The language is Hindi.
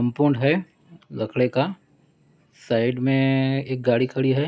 कंपाउंड है लकड़े का साइड मे एक गाड़ी खड़ी है।